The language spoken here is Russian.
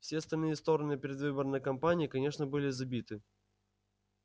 все остальные стороны предвыборной кампании конечно были забиты